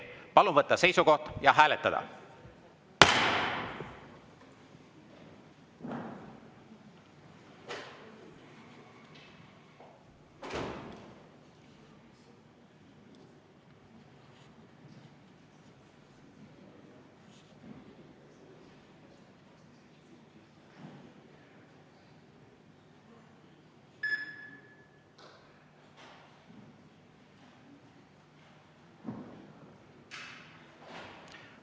Palun võtta seisukoht ja hääletada!